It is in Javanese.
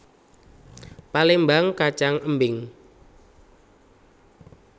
Palémbang kacang embing